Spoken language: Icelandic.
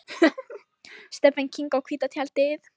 Stephen King á hvíta tjaldið